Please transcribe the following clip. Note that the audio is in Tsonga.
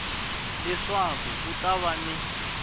leswaku ku ta va ni